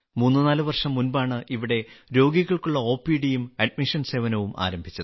മൂന്ന് നാല് വർഷം മുമ്പാണ് ഇവിടെ രോഗികൾക്കുള്ള ഒപിഡിയും അഡ്മിഷൻ സേവനവും ആരംഭിച്ചത്